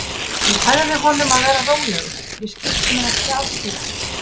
Ég sagði honum að vera rólegur, ég skipti mér ekki af slíku.